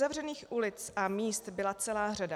Uzavřených ulic a míst byla celá řada.